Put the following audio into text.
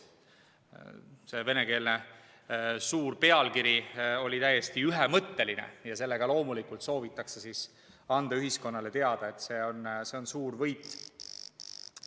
See suur venekeelne pealkiri oli täiesti ühemõtteline ja loomulikult soovitakse sellega anda ühiskonnale teada, et see on suur võit.